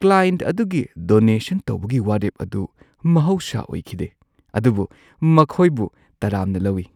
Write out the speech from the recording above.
Client ꯑꯗꯨꯒꯤ donation ꯇꯧꯕꯒꯤ ꯋꯥꯔꯦꯞ ꯑꯗꯨ ꯃꯍꯧꯁꯥ ꯑꯣꯏꯈꯤꯗꯦ, ꯑꯗꯨꯕꯨ ꯃꯈꯣꯏꯕꯨ ꯇꯔꯥꯝꯅ ꯂꯧꯏ꯫